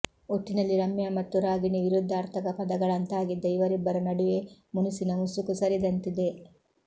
ಒಟ್ಟಿನಲ್ಲಿ ರಮ್ಯಾ ಮತ್ತು ರಾಗಿಣಿ ವಿರುದ್ಧಾರ್ಥಕ ಪದಗಳಂತಾಗಿದ್ದ ಇವರಿಬ್ಬರ ನಡುವೆ ಮುನಿಸಿನ ಮುಸುಕು ಸರಿದಂತಿದೆ